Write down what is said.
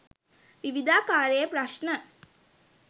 විවිධාකාරයේ ප්‍රශ්න.